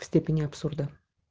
степени абсурда